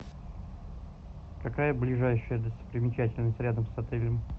какая ближайшая достопримечательность рядом с отелем